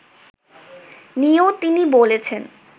নিয়েও তিনি বলেছেন